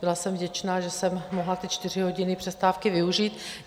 Byla jsem vděčna, že jsem mohla ty čtyři hodiny přestávky využít.